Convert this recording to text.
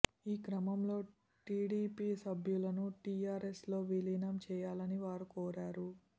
ఈ క్రమంలో టీడీపీ సభ్యులను టీఆర్ఎస్ లో విలీనం చేయాలని వారు కోరారు